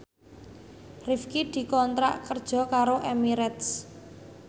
Rifqi dikontrak kerja karo Emirates